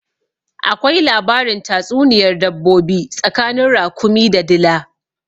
Akwai labarin tatsuniyar dabbobi tsakanin rakumi da dila